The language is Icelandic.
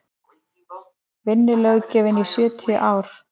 vinnulöggjöfin í sjötíu ár